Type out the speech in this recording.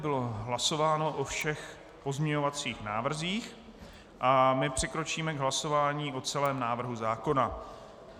Bylo hlasováno o všech pozměňovacích návrzích a my přikročíme k hlasování o celém návrhu zákona.